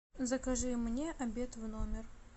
закажи мне обед в номер